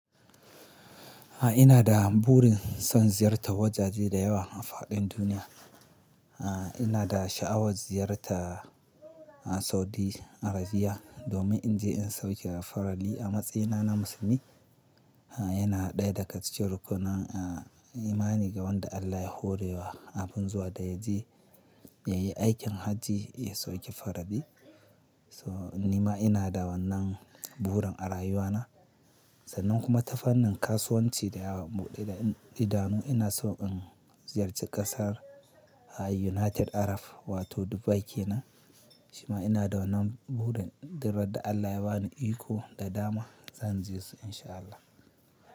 A'a ina da burin son ziyartar wajaje da yawa a faɗin duniya. Aah ina da sha'awar ziyarta Saudi Arabia domin in je in sauki farali a matsayina na musulmi. Aa yana ɗaya daga cikin rukunnan imani ga wanda Allah ya horewa abun zuwa da yaje yayi aikin hajji ya sauki farali. So nima ina da wannan burin a rayuwana. Sannan kuma tafannin kasuwanci da ya buɗe da idanu ina so in ziyarci ƙasar United Arab wato Dubai kenan. Shima ina da wannan burin duk randa Allah ya bani iko da dama zan je su in sha Allah.